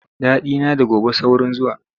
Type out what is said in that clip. Daɗina da gobe saurin zuwa.